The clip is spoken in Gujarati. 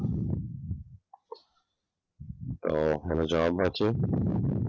અમ મને જવાબ મળશે.